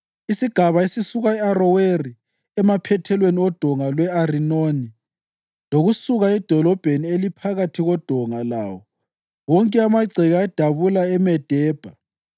Isigaba esisuka e-Aroweri emaphethelweni oDonga lwe-Arinoni, lokusuka edolobheni eliphakathi koDonga lawo wonke amagceke adabula eMedebha